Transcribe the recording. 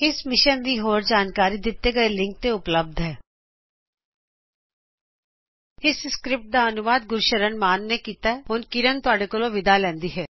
ਇਹ ਮਿਸ਼ਨ ਤੇ ਹੋਰ ਜਾਣਕਾਰੀ ਦਿਤੇ ਹੋਏ ਲਿਂਕ ਤੇ ਉਪਲਭਦ ਹੈ httpspoken tutorialorgNMEICT Intro ਇਹ ਸਕ੍ਰਿਪਟ ਗੁਰਸ਼ਰਨ ਸ਼ਾਨ ਦਵਾਰਾ ਤਬਦੀਲ ਕਿਤੀ ਗਈ ਹੈਆਈਆਈਟੀ ਮੁੰਬਈ ਦੇ ਵਲੋਂ ਹੁਣ ਮੈਂਤੁਹਾਡੇ ਵਲੋ ਵਿਦਾ ਲੈਂਦੀ ਹਾਂਸਾਡੇ ਨਾਲ ਜੁੜਨ ਲਈ ਧੰਨਵਾਦ